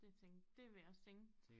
Det tænk det vil jeg også tænke